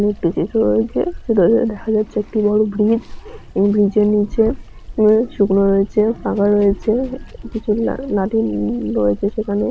একটি চিত্র রয়েছে চিত্রটিতে দেখা যাচ্ছে একটি বড়ো ব্রিজ এবং ব্রিজ এর নীচে শুকনো রয়েছে ফাঁকা রয়েছে কিছু রয়েছে সেখানে।